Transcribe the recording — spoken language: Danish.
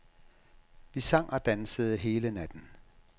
Vi sang og dansede hele natten.